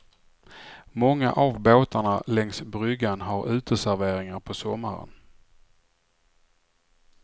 Många av båtarna längs bryggan har uteserveringar på sommaren.